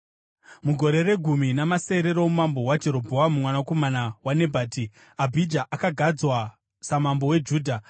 Mugore regumi namasere roumambo hwaJerobhoamu mwanakomana waNebhati, Abhija akagadzwa samambo weJudha.